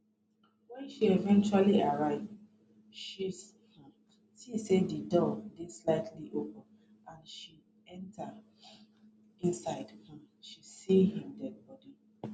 wen she eventually arrive she see say di door dey slightly open and as she enta inside she see im deadibody